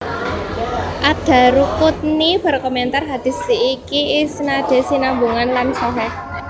Ad Daruquthni berkomentar Hadits iki isnadé sinambungan lan sahih